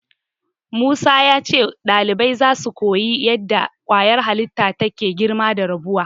Musa ya ce ɗalibai zasu koyi yadda ƙwayar halitta take girma da rabuwa.